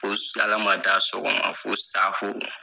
Ko salamata sɔgɔma fo saafo